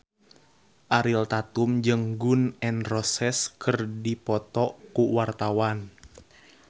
Ariel Tatum jeung Gun N Roses keur dipoto ku wartawan